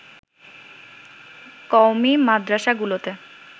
কওমী মাদ্রাসাগুলোতে